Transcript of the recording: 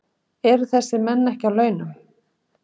Eru þessir menn ekki að á launum?